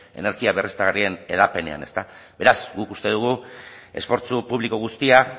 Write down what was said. energia berriztagarrien hedapenean ezta beraz guk uste dugu esfortzu publiko guztia